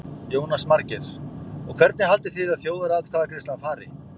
Jónas Margeir: Og hvernig haldið þið að þjóðaratkvæðagreiðslan fari?